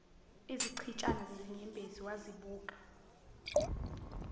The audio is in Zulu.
izichitshana zezinyembezi wazibuka